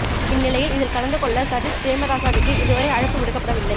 இந்நிலையில் இதில் கலந்து கொள்ள சஜித் பிரேமதாசவிற்கு இதுவரை அழைப்பு விடுக்கப்படவில்லை